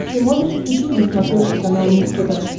ты можешь включить на смотрешке канал муз тв